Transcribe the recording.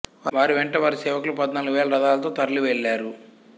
వారి వెంట వారి సేవకులు పధ్నాలుగు వేల రథాలతో తరలి వెళ్ళారు